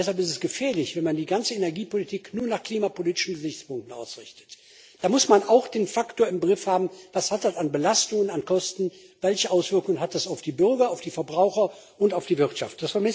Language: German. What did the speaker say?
Deshalb ist es gefährlich, wenn man die ganze Energiepolitik nur nach klimapolitischen Gesichtspunkten ausrichtet. Da muss man auch den Faktor im Griff haben Was hat das an Belastungen und Kosten zur Folge, welche Auswirkungen hat das auf die Bürger, auf die Verbraucher und auf die Wirtschaft?